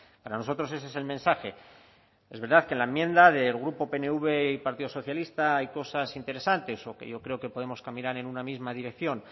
para nosotros ese es el mensaje es verdad que en la enmienda del grupo pnv y partido socialista hay cosas interesantes o que yo creo que podemos caminar en una misma dirección